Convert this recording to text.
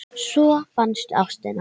Svo fannstu ástina.